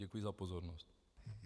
Děkuji za pozornost.